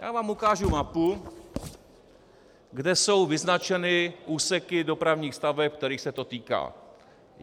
Já vám ukážu mapu, kde jsou vyznačeny úseky dopravních staveb, kterých se to týká.